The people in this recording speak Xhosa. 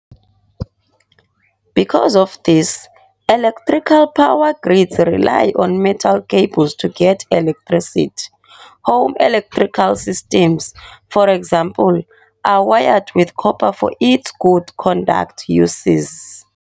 Because of this, electrical power grids rely on metal cables to get electricity. Home electrical systems, for example, are wired with copper for its good conducting uses.